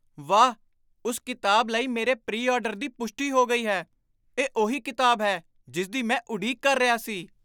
ਵਾਹ! ਉਸ ਕਿਤਾਬ ਲਈ ਮੇਰੇ ਪ੍ਰੀ ਆਰਡਰ ਦੀ ਪੁਸ਼ਟੀ ਹੋ ਗਈ ਹੈ ਇਹ ਉਹੀ ਕਿਤਾਬ ਹੈ ਜਿਸ ਦੀ ਮੈਂ ਉਡੀਕ ਕਰ ਰਿਹਾ ਸੀ